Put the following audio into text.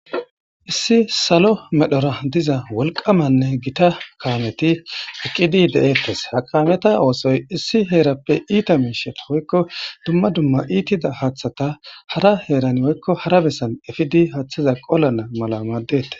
issi salo medhora diza wolqamanne gita kaameti eqqidi de7eettes ha kaameta oosoy issi heerappe iita miisheta woykko dumma dumma iitida haaththata hara heeran oykko hara bessan efidi haaththiza qolana mala maaddete